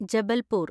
Jabalpur